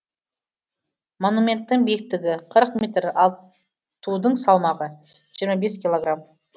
монументтің биіктігі қырық метр ал тудың салмағы жиырма бес килограмм